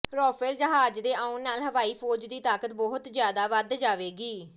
Rafale ਜਹਾਜ਼ ਦੇ ਆਉਣ ਨਾਲ ਹਵਾਈ ਫ਼ੌਜ ਦੀ ਤਾਕਤ ਬਹੁਤ ਜ਼ਿਆਦਾ ਵੱਧ ਜਾਵੇਗੀ